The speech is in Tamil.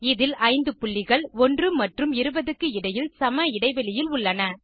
இதில் 5 புள்ளிகள் 1 மற்றும் 20 க்கு இடையில் சம இடைவெளியில் உள்ளன